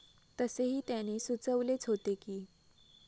तसेही त्याने सुचवलेच होते की.